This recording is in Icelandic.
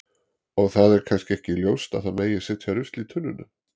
Og það er kannski ekki ljóst að það megi setja rusl í tunnuna.